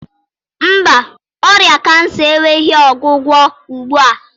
Mba, ọrịa kansa enweghị ọgwụgwọ ugbu a.